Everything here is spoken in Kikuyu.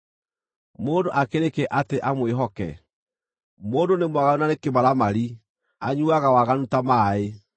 mũndũ akĩrĩ kĩ atĩ amwĩhoke? Mũndũ nĩ mwaganu na nĩ kĩmaramari, anyuuaga waganu ta maaĩ!